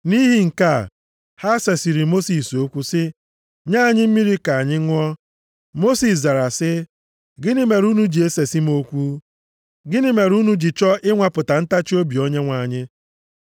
Nʼihi nke a, ha sesịrị Mosis okwu, sị, “Nye anyị mmiri ka anyị ṅụọ.” Mosis zara, sị, “Gịnị mere unu ji esesị m okwu? Gịnị mere unu ji chọọ ịnwapụta ntachiobi Onyenwe anyị?”